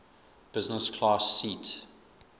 business class seat